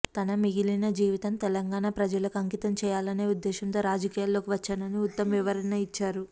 తన మిగిలిన జీవితం తెలంగాణ ప్రజలకు అంకితం చేయాలనే ఉద్దేశంతో రాజకీయాల్లోకి వచ్చానని ఉత్తమ్ వివరణ ఇచ్చారు